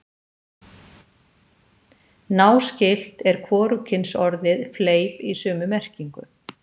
Náskylt er hvorugkynsorðið fleip í sömu merkingu.